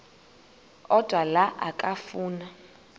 odwa la okafuna